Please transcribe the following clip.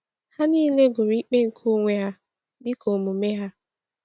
Ha niile gụrụ ikpe nke onwe ha dịka omume ha.